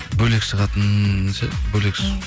бөлек шығатын ше бөлек